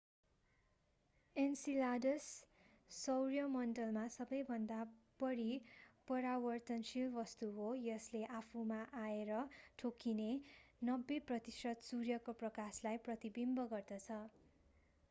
enceladus सौर्यमण्डलमा सबैभन्दा बढी परावर्तनशील वस्तु हो यसले आफूमा आएर ठोक्किने 90 प्रतिशत सूर्यको प्रकाशलाई प्रतिबिम्बित गर्छ